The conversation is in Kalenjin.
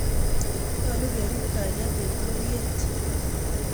Nyolu kerip kalyet en pororyet